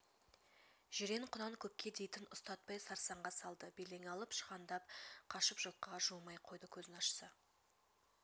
жирен құнан көпке дейтін ұстатпай сарсаңға салды белең алып шығандап қашып жылқыға жуымай қойды көзін ашса